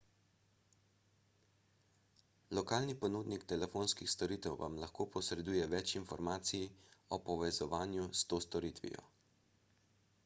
lokalni ponudnik telefonskih storitev vam lahko posreduje več informacij o povezovanju s to storitvijo